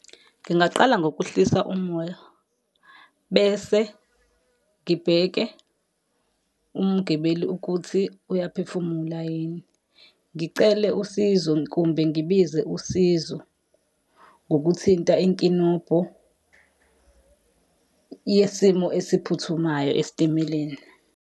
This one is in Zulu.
Ngingaqala ngokuhlisa umoya, bese ngibheke umgibeli ukuthi uyaphefumula yini. Ngicele usizo kumbe ngibize usizo, ngokuthinta inkinobho yesimo esiphuthumayo esitimeleni.